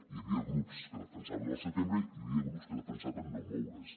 hi havia grups que defensaven al setembre hi havia grups que defensaven no moure’s